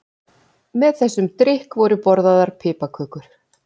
Með þessum drykk voru borðaðar piparkökur.